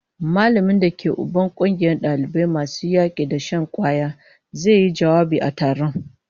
Mallamin da ke Uban kungiyar dalibai masu yaki da shan kwaya zai yi jawabi a taron